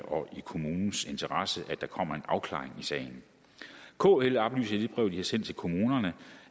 og i kommunens interesse at der kommer en afklaring i sagen kl oplyser i det brev de har sendt til kommunerne